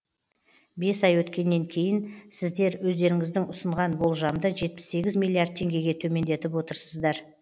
бес ай өткеннен кейін сіздер өздеріңіздің ұсынған болжамды жетпіс сегіз милиард теңгеге төмендетіп отырсыздар